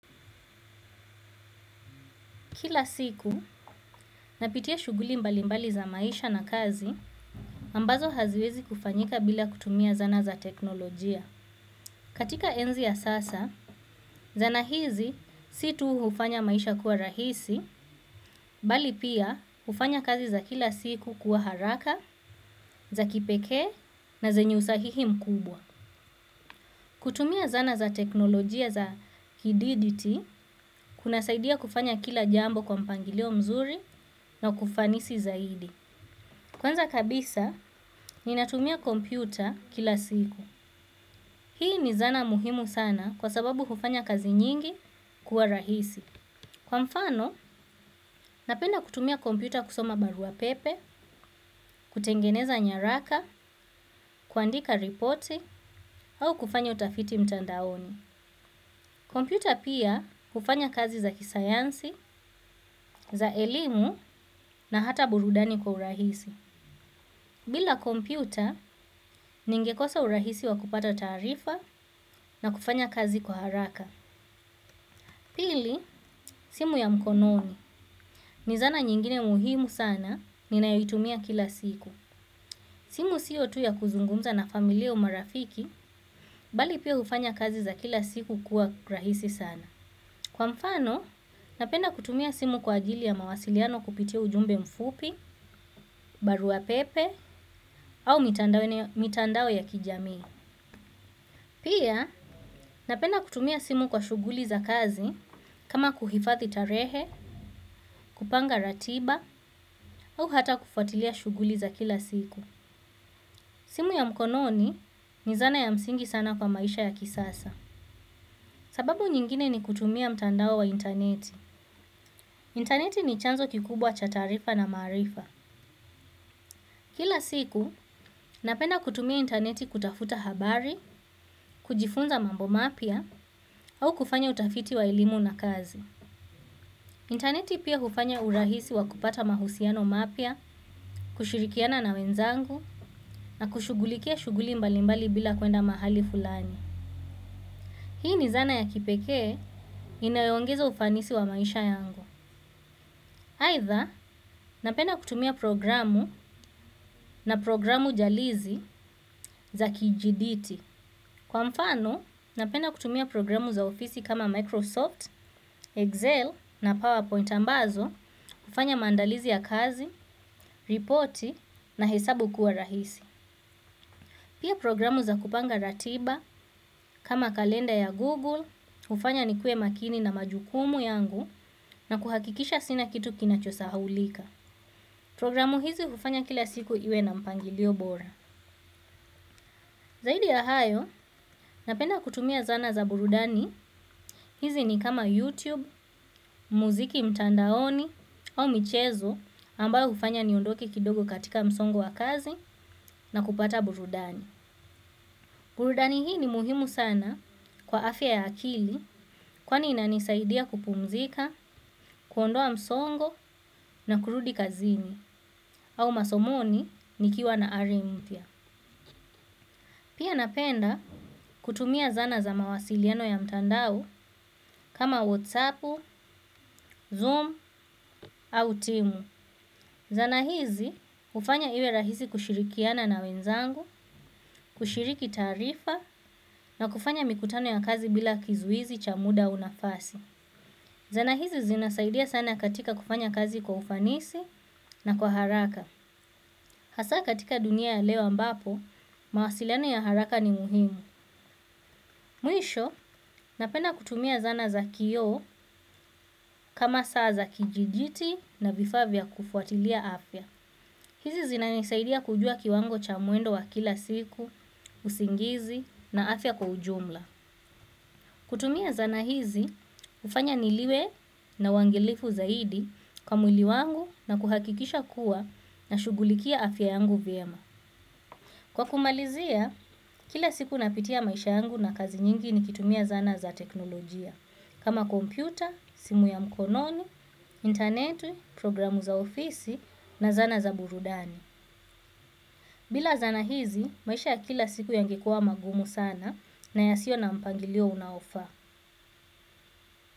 Kila siku, napitia shughuli mbali mbali za maisha na kazi, ambazo haziwezi kufanyika bila kutumia zana za teknolojia. Katika enzi ya sasa, zana hizi si tu hufanya maisha kuwa rahisi, bali pia hufanya kazi za kila siku kuwa haraka, za kipekee na zenye usahihi mkubwa. Kutumia zana za teknolojia za kidijiti, kuna saidia kufanya kila jambo kwa mpangilio mzuri na kufanisi zaidi. Kwanza kabisa ninatumia kompyuta kila siku. Hii ni zana muhimu sana kwa sababu hufanya kazi nyingi kuwa rahisi. Kwa mfano, napenda kutumia kompyuta kusoma barua pepe, kutengeneza nyaraka, kuandika ripoti, au kufanya utafiti mtandaoni. Kompyuta pia hufanya kazi za kisayansi, za elimu na hata burudani kwa urahisi. Bila kompyuta, ningekosa urahisi wa kupata taarifa na kufanya kazi kwa haraka. Pili, simu ya mkononi. Ni zana nyingine muhimu sana, ninayoitumia kila siku. Simu siyo tu ya kuzungumza na familia au marafiki, bali pia hufanya kazi za kila siku kuwa rahisi sana. Kwa mfano, napenda kutumia simu kwa ajili ya mawasiliano kupitia ujumbe mfupi, barua pepe, au mitandao ya kijami. Pia, napenda kutumia simu kwa shughuli za kazi kama kuhifathi tarehe, kupanga ratiba au hata kufuatilia shughuli za kila siku. Simu ya mkononi ni zana ya msingi sana kwa maisha ya kisasa. Sababu nyingine ni kutumia mtandao wa interneti. Interneti ni chanzo kikubwa cha taarifa na maarifa. Kila siku, napenda kutumia interneti kutafuta habari, kujifunza mambo mapya au kufanya utafiti wa elimu na kazi. Interneti pia hufanya urahisi wa kupata mahusiano mapya, kushirikiana na wenzangu na kushugulikia shughuli mbalimbali bila kuenda mahali fulani. Hii ni zana ya kipekee inayo ongeza ufanisi wa maisha yangu. Aidha, napenda kutumia programu na programu jalizi za kijiditi. Kwa mfano, napenda kutumia programu za ofisi kama vile Microsoft, Excel na PowerPoint, ambazo hufanya maandalizi ya kazi, ripoti na hesabu kuwa rahisi. Pia programu za kupanga ratiba kama kalenda ya Google, hufanya ni kue makini na majukumu yangu na kuhakikisha sina kitu kinacho sahaulika. Programu hizi ufanya kila siku iwe na mpangilio bora. Zaidi ya hayo, napenda kutumia zana za burudani. Hizi ni kama YouTube, muziki mtandaoni au michezo ambayo hufanya niondoke kidogo katika msongo wa kazi na kupata burudani. Burudani hii ni muhimu sana kwa afya ya akili, kwani inanisaidia kupumzika, kuondoa msongo na kurudi kazini au masomoni nikiwa na ari npya. Pia napenda kutumia zana za mawasiliano ya mtandao kama Whatsapp, Zoom au Timu. Zana hizi hufanya iwe rahisi kushirikiana na wenzangu, kushiriki taarifa na kufanya mikutano ya kazi bila kizuizi cha muda au nafasi. Zana hizi zinasaidia sana katika kufanya kazi kwa ufanisi na kwa haraka. Hasa katika dunia ya leo ambapo, mawasiliano ya haraka ni muhimu. Mwisho, napenda kutumia zana za kioo kama saa za kijiditi na vifaa vya kufuatilia afya. Hizi zina nisaidia kujua kiwango cha mwendo wa kila siku, usingizi na afya kwa ujumla. Kutumia zana hizi, hufanya niliwe na uangalifu zaidi kwa mwili wangu na kuhakikisha kuwa na shugulikia afya yangu vyema. Kwa kumalizia, kila siku napitia maisha yangu na kazi nyingi nikitumia zana za teknolojia. Kama kompyuta, simu ya mkononi, interneti, programu za ofisi na zana za burudani. Bila zana hizi, maisha ya kila siku yange kuwa magumu sana na yasio na mpangilio unaofaa.